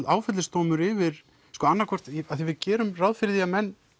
áfellisdómur yfir því að við gerum ráð fyrir því að menn